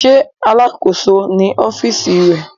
Ṣe Alakoso ni ọfiisi rẹ?